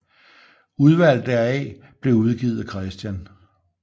Udvalg deraf blev udgivet af Chr